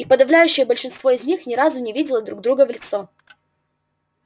и подавляющее большинство из них ни разу не видело друг друга в лицо